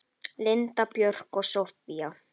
Linda Björk og Soffía.